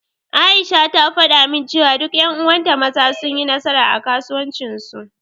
Aisha ta faɗa min cewa duk ƴan uwan ta Maza sun yi nasara, a kasuwancin su.